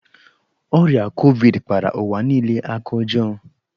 Ọrịa Kovid kpara ụwa niile aka ọjọọ.